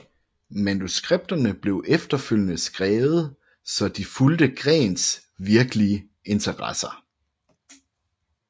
Manuskripterne blev efterfølgende skrevet så de fulgte Greens virkelige interesser